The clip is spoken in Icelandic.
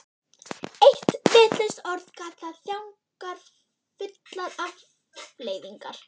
Eitt vitlaust orð gat haft þjáningarfullar afleiðingar.